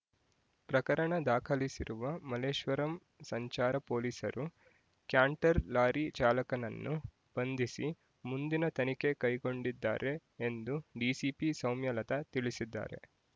ಪ್ರಕರಣ ದಾಖಲಿಸಿರುವ ಮಲ್ಲೇಶ್ವರಂ ಸಂಚಾರ ಪೊಲೀಸರು ಕ್ಯಾಂಟರ್ ಲಾರಿ ಚಾಲಕನನ್ನು ಬಂಧಿಸಿ ಮುಂದಿನ ತನಿಖೆ ಕೈಗೊಂಡಿದ್ದಾರೆ ಎಂದು ಡಿಸಿಪಿ ಸೌಮ್ಯಲತಾ ತಿಳಿಸಿದ್ದಾರೆ